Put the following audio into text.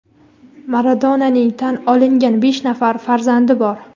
Maradonaning tan olingan besh nafar farzandi bor.